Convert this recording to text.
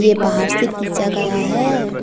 ये बाहर से खींचा गया है।